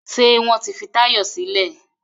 Ṣé wọ́n ti fi Táyọ̀ sílẹ̀?